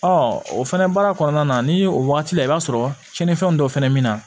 o fɛnɛ baara kɔnɔna na ni o wagati la i b'a sɔrɔ cɛninfɛn dɔ fɛnɛ min na